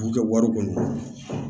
K'u kɛ wari kɔni